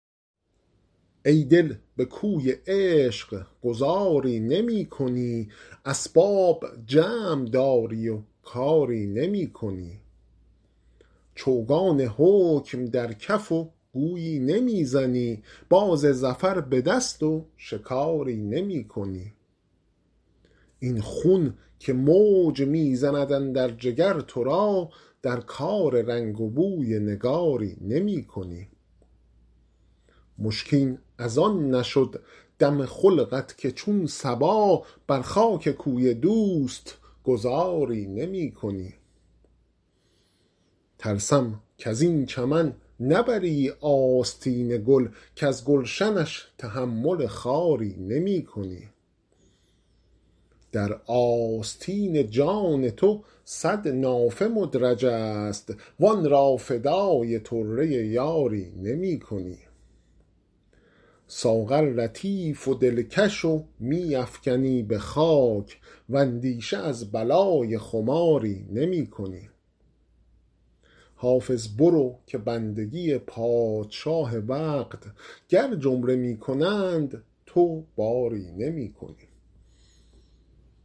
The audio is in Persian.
ای دل به کوی عشق گذاری نمی کنی اسباب جمع داری و کاری نمی کنی چوگان حکم در کف و گویی نمی زنی باز ظفر به دست و شکاری نمی کنی این خون که موج می زند اندر جگر تو را در کار رنگ و بوی نگاری نمی کنی مشکین از آن نشد دم خلقت که چون صبا بر خاک کوی دوست گذاری نمی کنی ترسم کز این چمن نبری آستین گل کز گلشنش تحمل خاری نمی کنی در آستین جان تو صد نافه مدرج است وآن را فدای طره یاری نمی کنی ساغر لطیف و دلکش و می افکنی به خاک واندیشه از بلای خماری نمی کنی حافظ برو که بندگی پادشاه وقت گر جمله می کنند تو باری نمی کنی